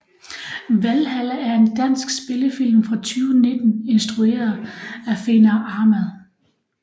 Valhalla er en dansk spillefilm fra 2019 instrueret af Fenar Ahmad